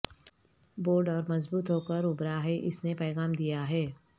board اور مضبوط ہوکر ابھرا ہے اس نے پیغام دیا ہے